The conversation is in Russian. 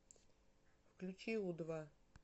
включи у два